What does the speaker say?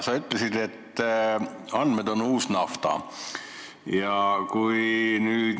Sa ütlesid, et andmed on uus nafta.